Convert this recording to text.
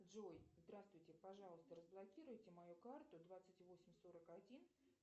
джой здравствуйте пожалуйста разблокируйте мою карту двадцать восемь сорок один